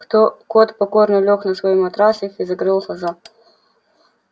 кто кот покорно лёг на свой матрасик и закрыл глаза